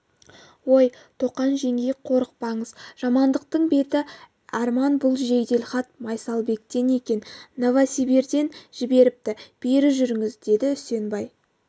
ой тоқан жеңгей қорықпаңыз жамандықтың беті әрман бұл жеделхат майсалбектен екен новосибирьден жіберіпті бері жүріңіз деді үсенбай